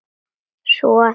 Svo að hann.